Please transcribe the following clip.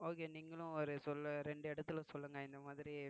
okay நீங்களும் ஒரு சொல்லு ரெண்டு இடத்தில சொல்லுங்க இந்த மாதிரி